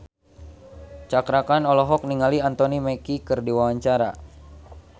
Cakra Khan olohok ningali Anthony Mackie keur diwawancara